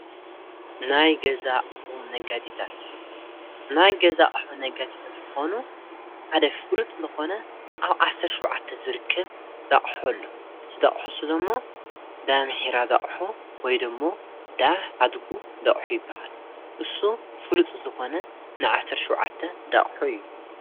ናይ ገዛእሑ ነጋዲታት ናይ ገዛእሖ ነጋቲተት ልኾኑ ኣደ ፍሉጥ ልኾነ ኣብ ዓሠር ሸዉዓተ ዝርክ ዳዕሑ ሎ ዝደእሖ ሱዶ እሞ ዳ ምኂራ ዳቕሑ ወይደእሞ ዳህ ሃድጉ ኣይበሃል እሱ ፍሉጥ ዝኾነ ንዓሠር ሽዉዓተ ዳእሖ እዩ።